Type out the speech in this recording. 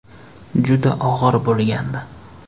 “Juda og‘ir bo‘lgandi”.